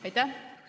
Aitäh!